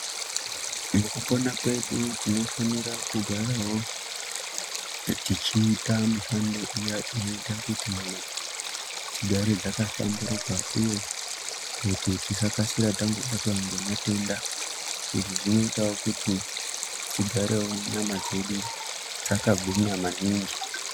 Mukupona kwedu tinofanira kugaravo tichiita mishando iya inoita kuti nyama dzigare dzakahlamburuka, uye kuti tisakasira tangobatwa ngematenda. Izvi zvinotavo kuti tigarevo nyama dzedu dzakagwinya maningi.